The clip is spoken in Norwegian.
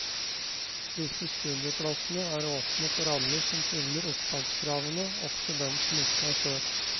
Disse studieplassene er åpne for alle som fyller opptakskravene, også dem som ikke har søkt.